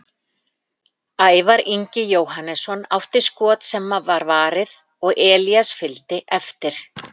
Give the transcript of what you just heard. Ævar Ingi Jóhannesson átti skot sem var varið og Elías fylgdi eftir.